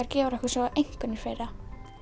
gefur okkur svo einkunnir fyrir það